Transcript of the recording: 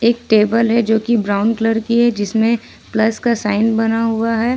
एक टेबल है जो कि ब्राउन कलर की है जिसमें प्लस का साइन बना हुआ है।